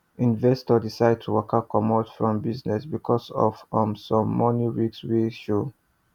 investor decide to waka comot from business because of um some money risk wey show